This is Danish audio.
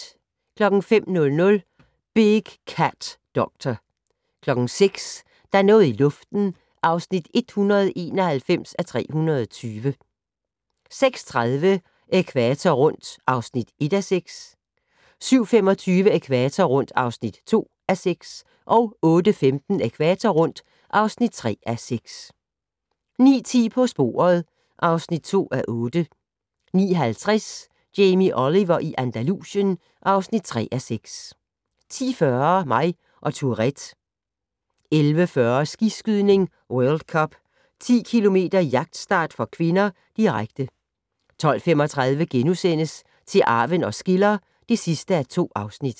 05:00: Big Cat Doctor 06:00: Der er noget i luften (191:320) 06:30: Ækvator rundt (1:6) 07:25: Ækvator rundt (2:6) 08:15: Ækvator rundt (3:6) 09:10: På sporet (2:8) 09:50: Jamie Oliver i Andalusien (3:6) 10:40: Mig og Tourettes 11:40: Skiskydning: World Cup - 10 km jagtstart (k), direkte 12:35: Til arven os skiller (2:2)*